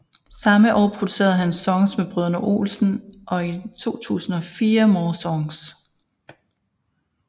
Samme år producerede han Songs med Brødrene Olsen og i 2004 More Songs